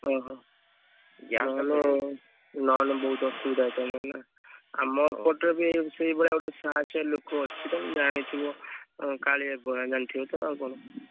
ଓହୋ ନହେଲେ ବହୁତ ଅସୁବିଧା ହେଇଥାନ୍ତା ନା ଆମ ଏପଟରେ ବି ସେଇଭଳିଆ ଗୋଟେ ସାହସୀଆ ଲୋକ ଅଛି ତମେ ଜାଣିଥିବ ଆଁ କାଳିଆ ଜାଣିଥିବ ତ ଆଉ କଣ?